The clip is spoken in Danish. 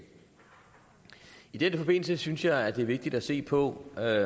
i den forbindelse synes jeg det er vigtigt at se på